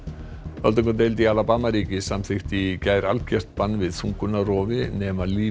öldungadeild í Alabama ríki samþykkti í gær algert bann við þungunarrofi nema líf